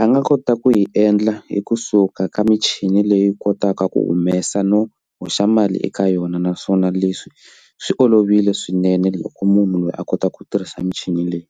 a nga kota ku yi endla hi kusuka ka michini leyi kotaka ku humesa no hoxa mali eka yona naswona leswi swi olovile swinene loko munhu loyi a kotaka ku tirhisa michini leyi.